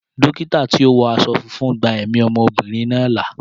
Dókítà tí ó wọ aṣọ funfun gba ẹ̀mí ọmọbìnrin náà là.